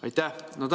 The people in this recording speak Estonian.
Aitäh!